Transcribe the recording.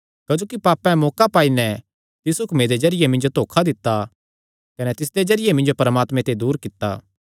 क्जोकि पापें मौका पाई नैं तिस हुक्मे दे जरिये मिन्जो धोखा दित्ता कने तिसदे जरिये मिन्जो परमात्मे ते दूर कित्ता